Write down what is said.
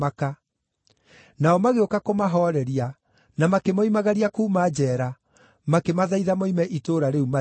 Nao magĩũka kũmahooreria, na makĩmoimagaria kuuma njeera, makĩmathaitha moime itũũra rĩu mathiĩ.